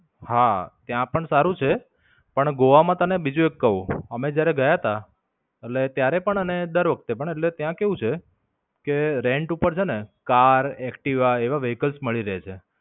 હા, ત્યાં પણ સારું છે. પણ ગોવા માં તને બીજું એક કઉં. અમે જયારે ગયા તા એટલે ત્યારે પણ અને દર વખતે પણ એટલે ત્યાં કેવું છે કે rant ઉપર છે ને કાર, એક્ટિવા એવા vehicles મળી રહે છે.